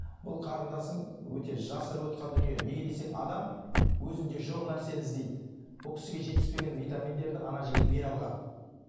бұл қарындасым өте жасырып отырған дүние неге десең адам өзінде жоқ нәрсені іздейді бұл кісіге жетіспеген витаминдерді ана жігіт бере алған